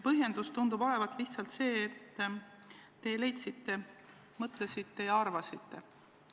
Põhjendus tundub olevat lihtsalt see, et te lihtsalt mõtlesite ja arvasite nii.